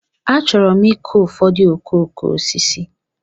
Achọrọ m ịkụ ụfọdụ okooko osisi.